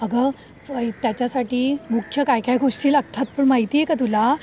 अगं त्याच्यासाठी मुख्य काय काय गोष्टी लागतात पण माहितीयेत का तुला?